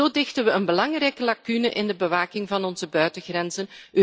Zo dichten we een belangrijke lacune in de bewaking van onze buitengrenzen.